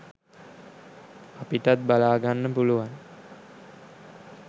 අපිටත් බලාගන්න පුළුවන්